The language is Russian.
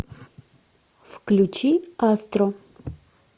включи астро